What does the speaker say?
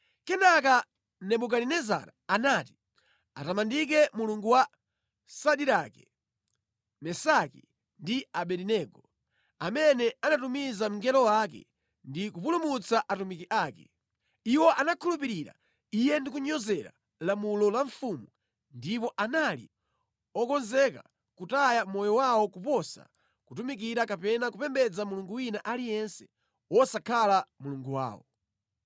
Kenaka Nebukadinezara anati, “Atamandike Mulungu wa Sadirake, Mesaki ndi Abedenego, amene anatumiza mngelo wake ndi kupulumutsa atumiki ake! Iwo anakhulupirira Iye ndi kunyozera lamulo la mfumu ndipo anali okonzeka kutaya moyo wawo koposa kutumikira kapena kupembedza mulungu wina aliyense wosakhala Mulungu wawo.